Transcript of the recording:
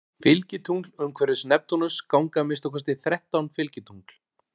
Fylgitungl Umhverfis Neptúnus ganga að minnsta kosti þrettán fylgitungl.